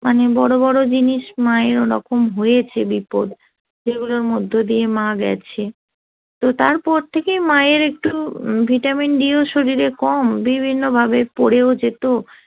মানে বড় বড় জিনিস মায়েরও ওরকম হয়েছে বিপদ যেগুলোর মধ্য দিয়ে মা গেছে তো তারপর থেকে মায়ের একটু vitamin d শরীরে কম বিভিন্নভাবে পড়েও যেত